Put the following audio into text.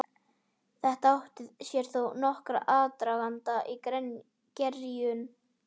Þetta átti sér þó nokkurn aðdraganda og gerjun.